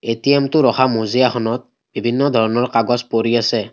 ATM টো ৰখা মজিয়াখনত বিভিন্ন ধৰণৰ কাগজ পৰি আছে।